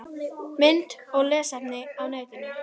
Mynd og lesefni á netinu